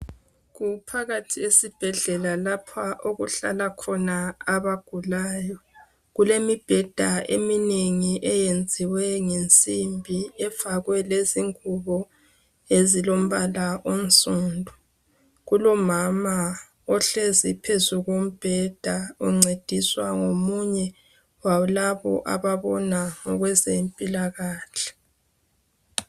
Kuphakathi esibhedlela lapha okuhlala khona abagulayo kulemibheda eyenziwe ngensimbi efakwe ingubo ezilombala onsundu kulomama ohlezi phezu kombheda uncediswa ngomunye walabo ababona ngokwezempilakahle.